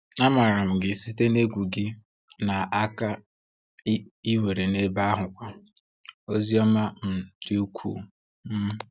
A maara m gị site n’egwu gị na nkà i nwere n’ebe ahụkwa. Ozi ọma um dị ukwuu. um